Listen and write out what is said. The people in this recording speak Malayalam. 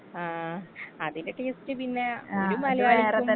ആ അതിന്റെയൊക്കെ യുക്തി പിന്നെ ഒരു മലയാളിക്കും.